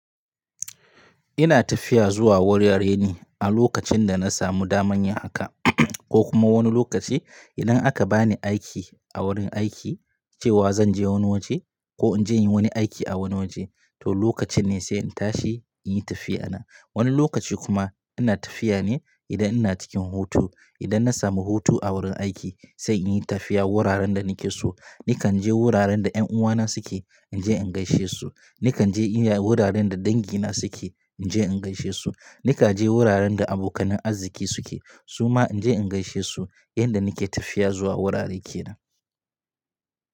Ina tafiya zuwa wurare ne a lokacin da na samu daman yin haka ko kuma wani lokaci idan aka bani aiki a wurin aiki cewa zan je wani waje ko in je yin wani aiki a wani waje to lokacin ne sai in tashi in yi tafiya na. Wani lokaci kuma ina tafiya ne idan ina cikin hutu. Idan na samu hutu a wurin aiki sai in yi tafiya wuraren da nake so. Nikan je wuraren da ƴan uwana suke in je in gaishe su. Nikan je wuraren da dangi na suke in je in gaishe su. Nikan je wuraren da abokanan arziki suke suma in je in gaishe su yanda nake tafiya zuwa wurare kenan.